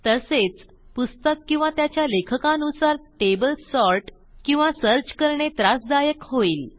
तसेच पुस्तक किंवा त्याच्या लेखकानुसार टेबल सॉर्ट किंवा सर्च करणे त्रासदायक होईल